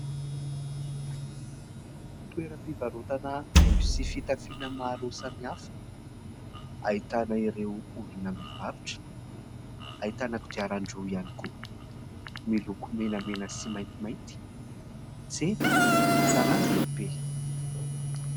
Toeram-pivarotana haingo sy fitafiana maro samihafa, ahitana ireo olona mivarotra. Ahitana kodiaran-droa ihany koa, miloko menamena sy maintimainty. Tsena an-tanàn-dehibe.